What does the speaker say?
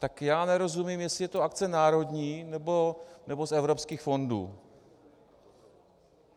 Tak já nerozumím, jestli je to akce národní, nebo z evropských fondů.